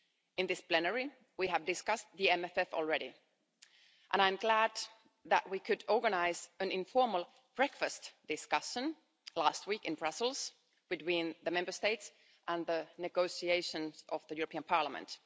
In this plenary we have discussed the MFF already and I am glad that we could organise an informal breakfast discussion last week in Brussels between the Member States and the negotiations of the European Parliament.